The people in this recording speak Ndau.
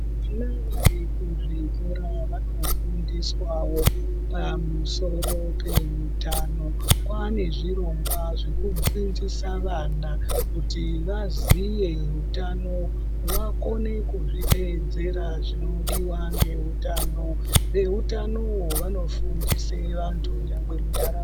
Zvino nevanyari kuzvikorawo vanofundiswawo pamusoro peutano. Kwaane zvirongwa zvekudzidzisa vana kuti vaziye utano vakone kuzviteedzera zvinodiwa ngezveutano. Veutano vanofundisa vantu nyangwe munharaunda.